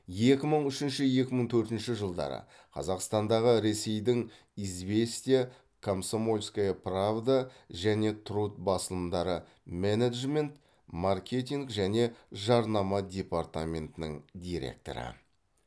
екі мың үшінші екі мың төртінші жылдары қазақстандағы ресейдің известия комсомольская правда және труд басылымдары менеджмент маркетинг және жарнама департаментінің директоры